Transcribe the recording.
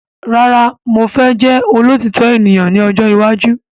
Rárá mo fẹ́ jẹ́ olótitọ ènìyàn ní ọjọ́ iwájú